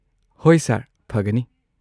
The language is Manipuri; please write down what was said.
ꯍꯣꯏ ꯁꯔ, ꯐꯒꯅꯤ꯫